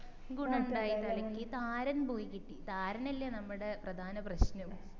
ഗുണുണ്ടായി തലയ്ക്ക് താരൻ പോയി കിട്ടി താരൻ അല്ലെ നമ്മടെ പ്രധാന പ്രശനം